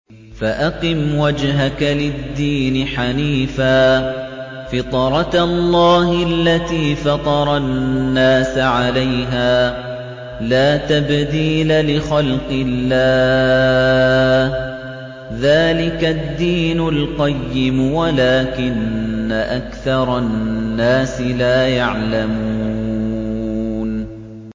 فَأَقِمْ وَجْهَكَ لِلدِّينِ حَنِيفًا ۚ فِطْرَتَ اللَّهِ الَّتِي فَطَرَ النَّاسَ عَلَيْهَا ۚ لَا تَبْدِيلَ لِخَلْقِ اللَّهِ ۚ ذَٰلِكَ الدِّينُ الْقَيِّمُ وَلَٰكِنَّ أَكْثَرَ النَّاسِ لَا يَعْلَمُونَ